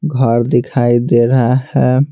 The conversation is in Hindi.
घर दिखाई दे रहा है।